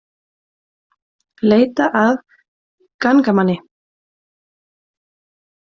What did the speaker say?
Leita að gangnamanni